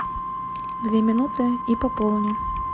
две минуты и пополни